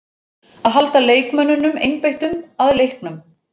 Að halda leikmönnunum einbeittum að leiknum.